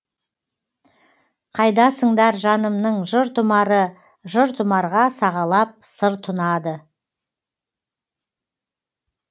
қайдасыңдар жанымның жыр тұмары жыр тұмарға сағалап сыр тұнады